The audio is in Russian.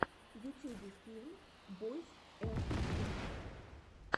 в ютьюбе фильм бойз энд тойс